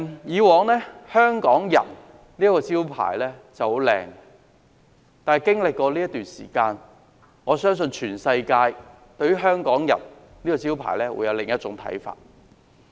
以往"香港人"是個很棒的招牌，但經過這段時間，我相信全世界對於"香港人"這個招牌會有另一種看法。